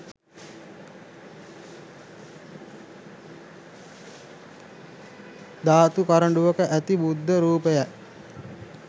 ධාතු කරඬුවක ඇති බුද්ධ රූපයයි.